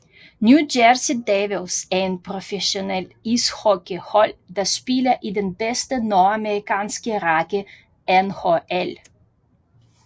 New Jersey Devils er et professionelt ishockeyhold der spiller i den bedste nordamerikanske række NHL